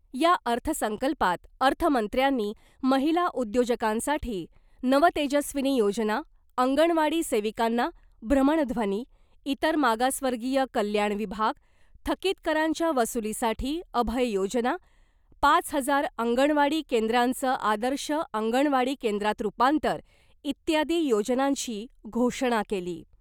या अर्थ संकल्पात अर्थमंत्र्यांनी , महिला उद्योजकांसाठी नवतेजस्विनी योजना , अंगणवाडी सेविकांना भ्रमणध्वनी , इतर मागासवर्गीय कल्याण विभाग , थकीत करांच्या वसुलीसाठी अभय योजना , पाच हजार अंगणवाडी केंद्रांचं आदर्श अंगणवाडी केंद्रात रुपांतर , इत्यादी योजनांची घोषणा केली .